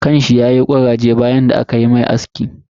kan sa yayi kuraje bayan da aka mishi aski.